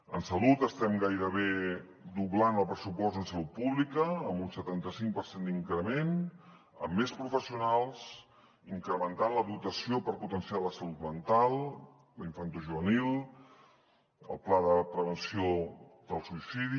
en salut estem gairebé doblant el pressupost en salut pública amb un setanta cinc per cent d’increment amb més professionals incrementant la dotació per potenciar la salut mental la infantojuvenil el pla de prevenció del suïcidi